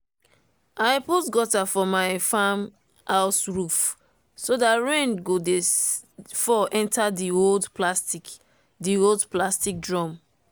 i put gutter for my farm house roof so dat rain go dey fall enter di old plastic di old plastic drum.